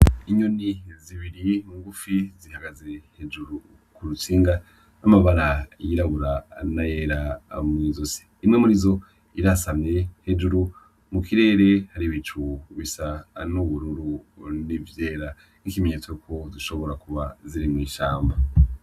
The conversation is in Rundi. Inyoni zibiri ngufi zihagaze hejuru ku rutsinga z'amabara yirabura n'ayera mw'izosi. Imwe muri izo irasamye, hejuru mu kirere hari ibicu bisa n'ubururu hamwe n'ivyera. Ni ikimenyetso ko zishobora kuba ziri mw'ishamba.